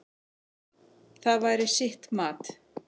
Það væri sitt mat.